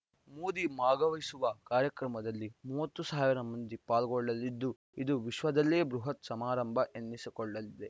ಮೋದಿ ಭಾಗವಹಿಸುವ ಕಾರ್ಯಕ್ರಮದಲ್ಲಿ ಮೂವತ್ತು ಸಾವಿರ ಮಂದಿ ಪಾಲ್ಗೊಳ್ಳಲಿದ್ದು ಇದು ವಿಶ್ವದಲ್ಲೇ ಬೃಹತ್‌ ಸಮಾರಂಭ ಎನಿಸಿಕೊಳ್ಳಲಿದೆ